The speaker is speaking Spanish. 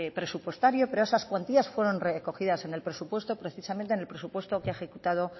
presupuestario pero esas cuantías fueron recogidas en el presupuesto precisamente en el presupuesto que ha ejecutado